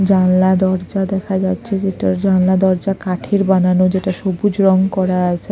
জানলা দরজা দেখা যাচ্ছে যেটার জানলা দরজা কাঠের বানানো যেটা সবুজ রং করা আছে।